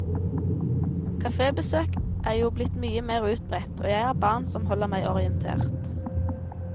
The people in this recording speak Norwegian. Kafébesøk er jo blitt mye mer utbredt, og jeg har barn som holder meg orientert.